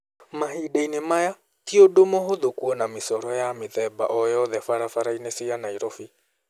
Mahinda-inĩ maya, tĩ ũndũ mũhũthũ kũona mĩcoro ya mĩthemba o yoothe barabara-inĩ cia Nairobi.